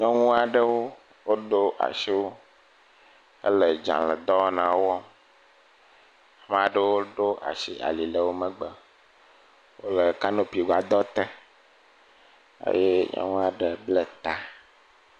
Nyɔnu aɖewo woɖo asi ele dzaledɔwɔnawo. Ame aɖewo ɖo asi ali le wo megbe. Wo le kanopi gbadɔte eye nyɔnu aɖe ble ta.